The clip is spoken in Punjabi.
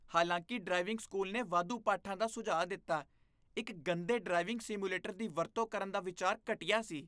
ਹਾਲਾਂਕਿ ਡ੍ਰਾਈਵਿੰਗ ਸਕੂਲ ਨੇ ਵਾਧੂ ਪਾਠਾਂ ਦਾ ਸੁਝਾਅ ਦਿੱਤਾ, ਇੱਕ ਗੰਦੇ ਡਰਾਈਵਿੰਗ ਸਿਮੂਲੇਟਰ ਦੀ ਵਰਤੋਂ ਕਰਨ ਦਾ ਵਿਚਾਰ ਘਟੀਆ ਸੀ।